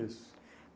Isso.